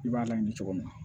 I b'a laɲini cogo min na